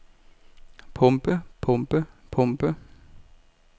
pumpe pumpe pumpe